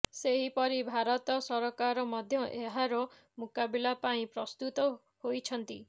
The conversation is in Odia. ସେହିପରି ଭାରତ ସରକାର ମଧ୍ୟ ଏହାର ମୁକାବିଲା ପାଇଁ ପ୍ରସ୍ତୁତ ହୋଇଛନ୍ତି